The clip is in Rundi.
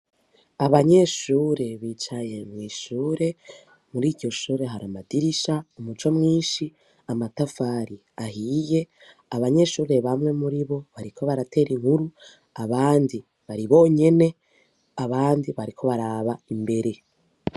Abanyeshure bicaye mw'ishure, muri iryo shure hari amadirisha, umuco mwinshi, amatafari ahiye, abanyeshure bamwe muri bo bariko baratera inkuru, abandi bari bonyene, abandi bariko baraba imbere.